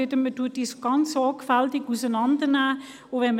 Die Batterien müssen sehr sorgfältig auseinandergenommen werden.